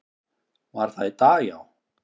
Var það í dag, já?